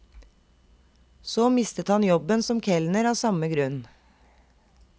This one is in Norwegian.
Så mistet han jobben som kelner av samme grunn.